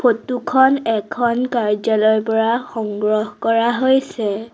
Photo খন এখন কাৰ্য্যালয়ৰ পৰা সংগ্ৰহ কৰা হৈছে।